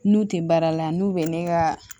N'u tɛ baara la n'u bɛ ne ka